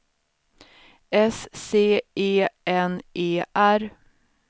S C E N E R